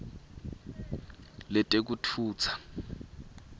letekutfutsa